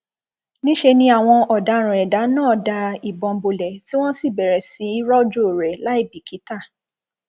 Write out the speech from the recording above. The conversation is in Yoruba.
níṣẹ ni àwọn ọdaràn ẹdà náà da ìbọn bolẹ tí wọn sì bẹrẹ sí í rojọ rẹ láì bìkítà